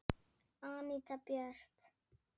Anita Björt.